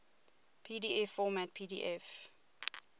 pdf format pdf